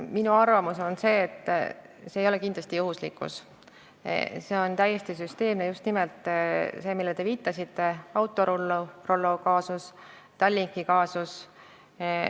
Minu arvamus on see, et see ei ole kindlasti juhuslikkus, see on täiesti süsteemne tegevus, just nimelt see, millele te viitasite, Autorollo kaasus ja Tallinki kaasus.